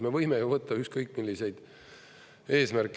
Me võime ju võtta ükskõik, milliseid eesmärke.